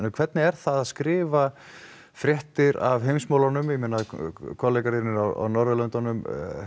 hvernig er það að skrifa fréttir af heimsmálunum ég meina kollegar þínir af Norðurlöndunum